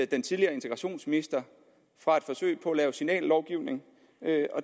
den tidligere integrationsminister fra et forsøg på at lave signallovgivning